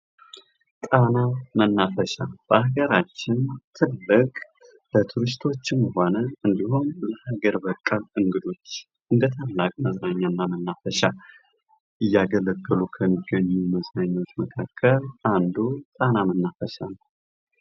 ጣና መናፈሻ በሀገራችን ትልቅ በቱሪስቶችም ሆነ እንዲሁም በሀገር በቀል እንግዶች እንደ ታላቅ መዝናኛና መናፈሻ እያገለገሉ ከሚገኙ መዝናኛዎች መካከል አንዱ ጣና መናፈሻ ነው።